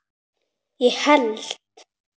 ég held